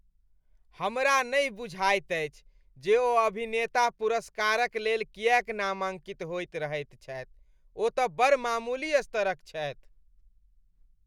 हमरा नहि बुझाइत अछि जे ओ अभिनेता पुरस्कारक लेल किएक नामांकित होइत रहैत छथि। ओ तँ बड़ मामूली स्तरक छथि।